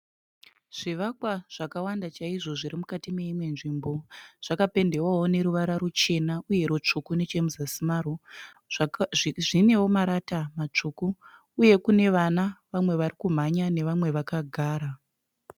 Zvivakwa zvakawanda chaizvo zvirimukati meimwe nzvimbo, zvakapendewao neruwara ruchena uye rutsvuku nechemusazi mazvo. zvineo marata matsvuku. uye kune vana vamwe varikumhanya nevamwe vakagara.